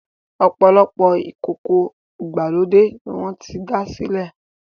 opolopo ìkókó ìgbàlódé ní wón sí dá silẹ